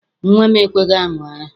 Nnwa m ekweghị aṅụ ara.